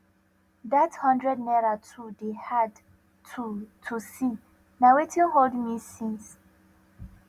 dat hundred naira too dey hard to to see na wetin hold me since